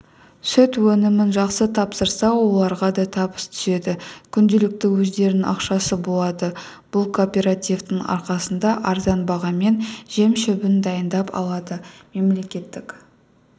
сүт өнімін жақсы тапсырса оларға да табыс түседі күнделікті өздерінің ақшасы болады бұл кооперативтің арқасында арзан бағамен жем-шөбін дайындап алады мемлекеттік